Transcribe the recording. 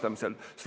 Väga hea!